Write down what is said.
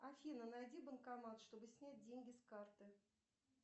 афина найди банкомат чтобы снять деньги с карты